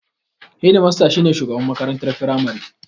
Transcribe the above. Hedimasta shi ne shugaban makarantar firamare.